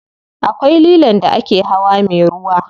Akwai lilon da ake hawa me ruwa.